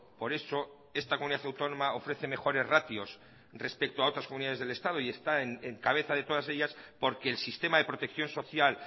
por eso esta comunidad autónoma ofrece mejores ratios respecto a otras comunidades del estado y está en cabeza de todas ellas porque el sistema de protección social